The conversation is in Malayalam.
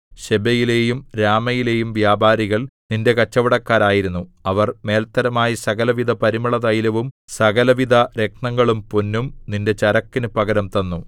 ശെബയിലെയും രാമയിലെയും വ്യാപാരികൾ നിന്റെ കച്ചവടക്കാരായിരുന്നു അവർ മേല്ത്തരമായ സകലവിധപരിമളതൈലവും സകലവിധരത്നങ്ങളും പൊന്നും നിന്റെ ചരക്കിനു പകരം തന്നു